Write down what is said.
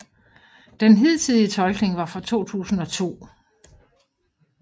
Den hidtidige tolkning var fra 2002